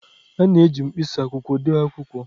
A na-eji mkpịsị akwụkwọ dee akwụkwọ